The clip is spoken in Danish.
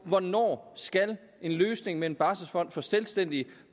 hvornår en løsning med en barselfond for selvstændige